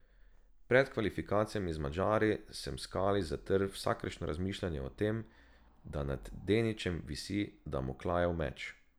Pred kvalifikacijami z Madžari sem v kali zatrl vsakršno razmišljanje o tem, da nad Deničem visi Damoklejev meč.